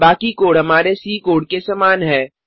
बाकी कोड हमारे C code के समान है